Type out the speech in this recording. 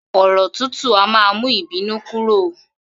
Òrò̩ tútù a máa mú ìbínú kúrò